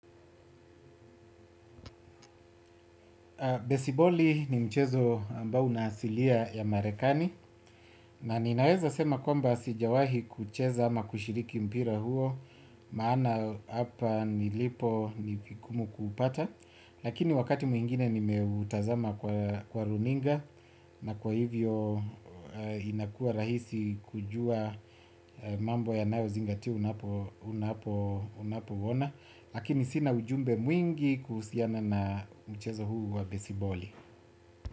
Besiboli ni mchezo ambao unaasilia ya marekani na ninaweza sema kwamba sijawahi kuucheza ama kushiriki mpira huo maana hapa nilipo ni vingumu kuupata. Lakini wakati mwingine nimeutazama kwa runinga na kwa hivyo inakua rahisi kujua mambo yanayozingatiwa unapouona. Lakini sina ujumbe mwingi kuhusiana na mchezo huu wa besiboli.